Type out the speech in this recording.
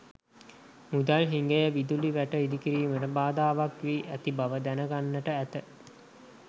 මුදල් හිඟය විදුලි වැට ඉදිකිරීමට බාධාවක් වී ඇති බව දැනගන්නට ඇත.